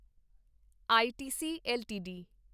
ITC LTD